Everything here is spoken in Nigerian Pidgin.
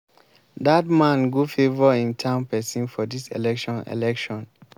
dat man go favour im town person for dis election election